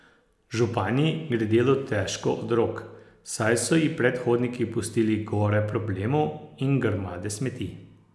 Županji gre delo težko od rok, saj so ji predhodniki pustili gore problemov in grmade smeti.